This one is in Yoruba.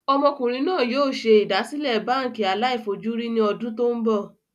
Ọmọkùnrin náà yìí o ṣe ìdásílẹ́ báànkì aláì fojú rí ní ọdún tòun bọ̀